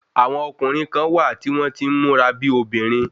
Àwọn ọkùnrin kán wà tí wọ́n tí ń múra bíi obìnrin